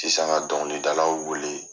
Sisan ka dɔnkilidalaw wele.